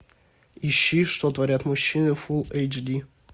ищи что творят мужчины фулл эйч ди